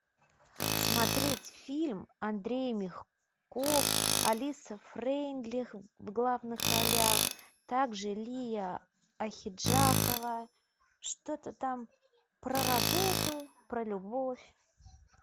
смотреть фильм андрей мягков алиса фрейндлих в главных ролях также лия ахеджакова что то там про работу про любовь